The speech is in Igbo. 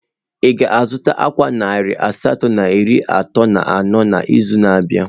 Ị ga-azụta ákwà narị asatọ na iri atọ na anọ n'izu na-abịa?